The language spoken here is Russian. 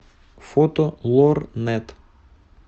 фото лор нэт